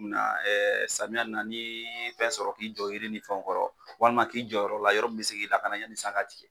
Na ɛɛ samiyɛ in na ni ye fɛn sɔrɔ k'i jɔ yiri ni fɛnw kɔrɔ walima k'i jɔ yɔrɔ la yɔrɔ min be se k'i lakana yani san ka tigɛ